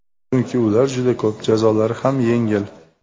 Chunki ular juda ko‘p, jazolari ham yengil .